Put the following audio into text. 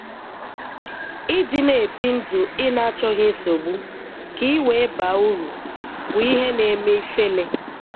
Ị dị na-ebi ndụ ị na-achọghị nsogbu, ka i wee baa úrù, bụ ihe na-eme ifele.